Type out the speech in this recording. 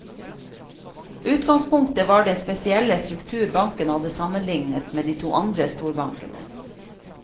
Utgangspunktet var den spesielle struktur banken hadde sammenlignet med de to andre storbankene.